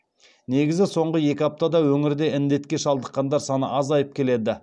негізі соңғы екі аптада өңірде індетке шалдыққандар саны азайып келеді